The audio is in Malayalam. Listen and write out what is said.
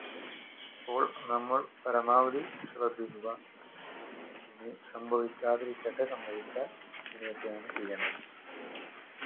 അപ്പോൾ നമ്മൾ പരമാവധി ശ്രദ്ധിക്കുക ഇനി സംഭവിക്കാതിരിക്കട്ടെ സംഭവിച്ചാ ഇങ്ങനെ ഒക്കെയാണ് ചെയ്യണ്ടത്